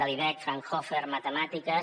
l’ibec fraunhofer matemàtiques